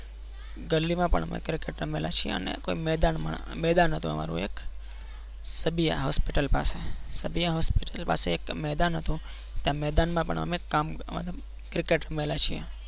ગલીમાં પણ અમે cricket રમેલા છીએ કોઈ મેદાનમાં મેદાન હતું એ મારું એક સબીયા hospital પાસે સબિયા hospital પાસે એક મેદાન હતું ત્યાં મેદાનમાં પણ અમે કામ મતલબ cricket રમેલા છીએ.